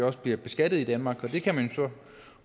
også bliver beskattet i danmark og det kan man så